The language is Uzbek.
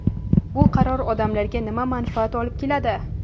Bu qaror odamlarga nima manfaat olib keladi.